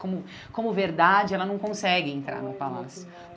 Como como verdade, ela não consegue olha que entrar no palácio.